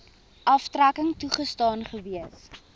aftrekking toegestaan gewees